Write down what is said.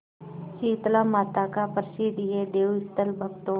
शीतलामाता का प्रसिद्ध यह देवस्थल भक्तों